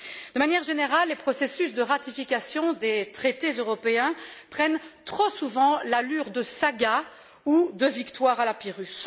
D'une manière générale, les processus de ratification des traités européens prennent trop souvent l'allure de sagas ou de victoires à la Pyrrhus.